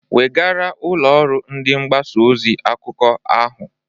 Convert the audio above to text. Wegaara ụlọ ọrụ ndị mgbasa ozi akụkọ ahụ!